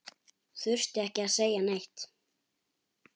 Þurfti ekki að segja neitt.